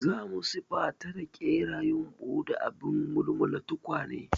Za mu siffata da ƙera yumbu da abin mulmula tukwane.